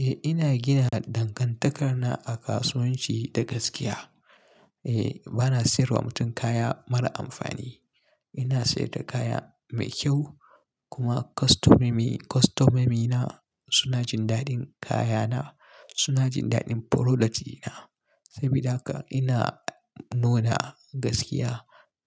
Eh ina gina dangantakar na a kasuwanci da gaskiya. Eh, bana sayarwa mutum kaya mara amfani. Ina sayar da kaya mai kyau kuma kostomemi--kostomomi na suna jin daɗin kayana, suna jin daɗin product dina Sabida haka ina nuna gaskiya,